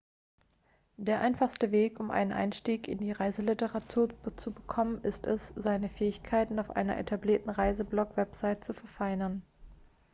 der einfachste weg um einen einstieg in die reiseliteratur zu bekommen ist es seine fähigkeiten auf einer etablierten reiseblog-webseite zu verfeinern